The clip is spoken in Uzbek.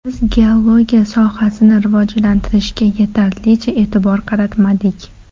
Biz geologiya sohasini rivojlantirishga yetarlicha e’tibor qaratmadik.